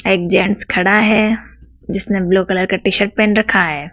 एक जेंट्स खड़ा है जिसने ब्लू कलर का टी-शर्ट पहन रखा है।